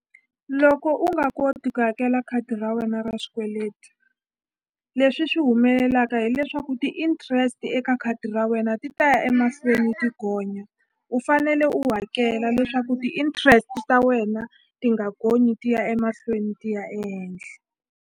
Loko u nga koti ku hakela khadi ra wena ra swikweleti leswi swi humelelaka hileswaku ti-interest eka khadi ra wena ti ta ya emahlweni ti gonya u fanele u hakela leswaku ti-interest ta wena ti nga gonyi ti ya emahlweni ti ya ehenhla.